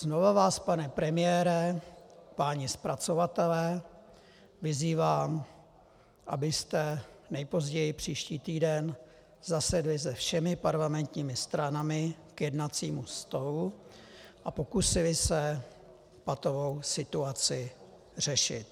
Znovu vás, pane premiére, páni zpracovatelé, vyzývám abyste nejpozději příští týden zasedli se všemi parlamentními stranami k jednacímu stolu a pokusili se patovou situaci řešit.